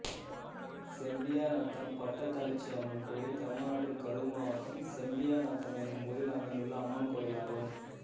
செம்பியாநத்தம் பட்டத்தளச்சியம்மன் கோயில் தமிழ்நாட்டில் கரூர் மாவட்டம் செம்பியாநத்தம் என்னும் ஊரில் அமைந்துள்ள அம்மன் கோயிலாகும்